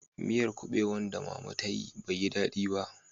Miyar kubewan da mama ta yi bai yi dadi ba